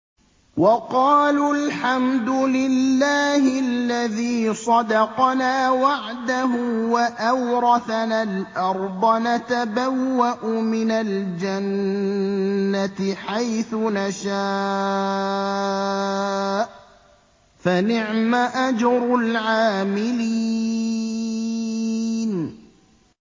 وَقَالُوا الْحَمْدُ لِلَّهِ الَّذِي صَدَقَنَا وَعْدَهُ وَأَوْرَثَنَا الْأَرْضَ نَتَبَوَّأُ مِنَ الْجَنَّةِ حَيْثُ نَشَاءُ ۖ فَنِعْمَ أَجْرُ الْعَامِلِينَ